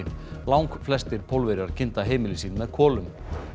langflestir Pólverjar kynda heimili sín með kolum